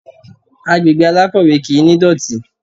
Agbègbè alákọ̀wẹ́ kì ní ìdọ̀tí.